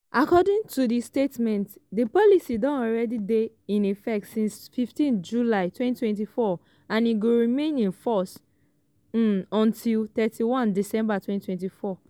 according to di statement di policy don already dey in effect since 15 july 2024 and e go remain in force um until 31 december 2024.